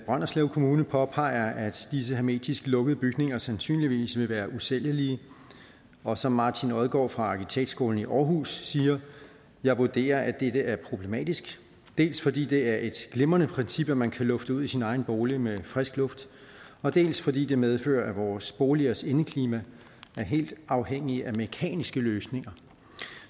brønderslev kommune påpeger at disse hermetisk lukkede bygninger sandsynligvis vil være usælgelige og som martin odgaard fra arkitektskolen aarhus siger jeg vurderer at dette er problematisk dels fordi det er et glimrende princip at man kan lufte ud i sin egen bolig med frisk luft og dels fordi det medfører at vores boligers indeklima er helt afhængige af mekaniske løsninger